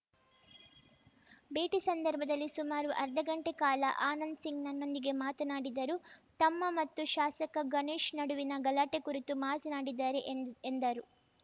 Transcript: ಭೇಟಿ ಸಂದರ್ಭದಲ್ಲಿ ಸುಮಾರು ಅರ್ಧಗಂಟೆ ಕಾಲ ಆನಂದ್‌ಸಿಂಗ್‌ ನನ್ನೊಂದಿಗೆ ಮಾತನಾಡಿದರು ತಮ್ಮ ಮತ್ತು ಶಾಸಕ ಗಣೇಶ್‌ ನಡುವಿನ ಗಲಾಟೆ ಕುರಿತು ಮಾತನಾಡಿದ್ದಾರೆ ಎಂದ ಎಂದರು